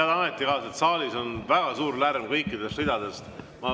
Head ametikaaslased, saalis on väga suur lärm kõikides ridades.